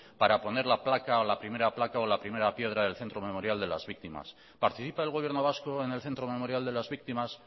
para poner la placa o la primera placa o la primera piedra del centro memorial de las víctimas participa el gobierno vasco en el centro memorial de las víctimas